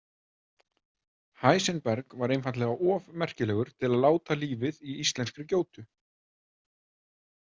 Heisenberg var einfaldlega of merkilegur til að láta lífið í íslenskri gjótu.